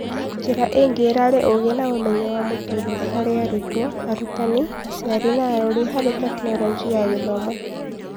Njĩra ingĩ irarĩ ũgĩ na ũmenyo wa mũtũrĩre harĩ arutwo, arutani, aciari na arori harĩ Tekinoronjĩ ya Gĩthomo